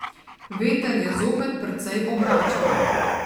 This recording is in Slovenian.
Veter je zopet precej obračal.